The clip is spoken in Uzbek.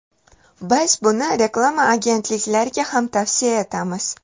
Biz buni reklama agentliklariga ham tavsiya etamiz.